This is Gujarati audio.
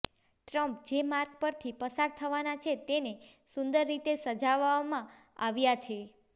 ટ્રમ્પ જે માર્ગ પરથી પસાર થવાના છે તેને સુંદર રીતે સજાવવામાં આવ્યા છે